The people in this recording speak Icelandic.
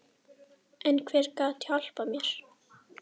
En hver gat hjálpað mér?